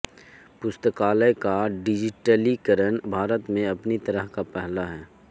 पुस्तकालय का डिजिटलीकरण भारत में अपनी तरह का पहला है